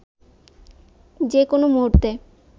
যে কোনো মুহূর্তে